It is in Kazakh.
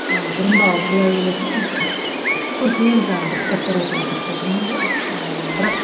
ы бұрында былай ойлайтынмын көркем жаңағы бір кітаптар оқуға тырысатынмын да ыыы бірақ